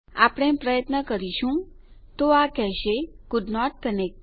આપણે પ્રયત્ન કરીશું તો આ કહેશે કોલ્ડન્ટ કનેક્ટ